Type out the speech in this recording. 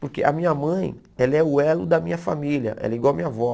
Porque a minha mãe, ela é o elo da minha família, ela é igual a minha avó.